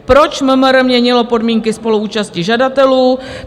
Proč MMR měnilo podmínky spoluúčasti žadatelů?